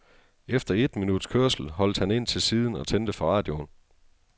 Efter et minuts kørsel holdt han ind til siden og tændte for radioen.